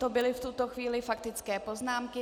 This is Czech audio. To byly v tuto chvíli faktické poznámky.